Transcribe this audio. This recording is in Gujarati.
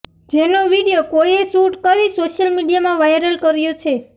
જેનો વીડિયો કોઈએ શૂટ કરી સોશિયલ મીડિયામાં વાયરલ કર્યો છે